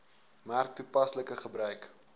merk toepaslike gebruik